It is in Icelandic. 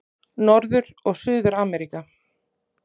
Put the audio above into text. Norður- og Suður-Ameríka